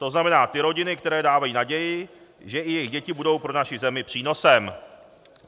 To znamená ty rodiny, které dávají naději, že i jejich děti budou pro naši zemi přínosem.